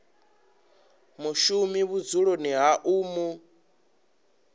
mushumi vhudzuloni ha u mu